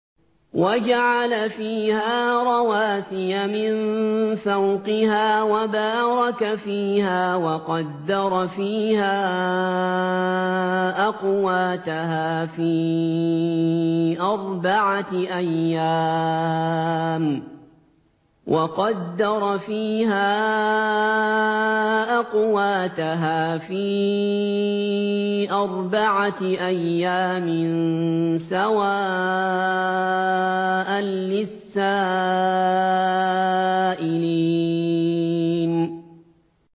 وَجَعَلَ فِيهَا رَوَاسِيَ مِن فَوْقِهَا وَبَارَكَ فِيهَا وَقَدَّرَ فِيهَا أَقْوَاتَهَا فِي أَرْبَعَةِ أَيَّامٍ سَوَاءً لِّلسَّائِلِينَ